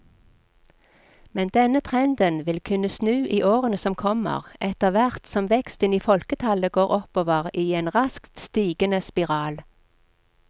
Men denne trenden vil kunne snu i årene som kommer, etterhvert som veksten i folketallet går oppover i en raskt stigende spiral.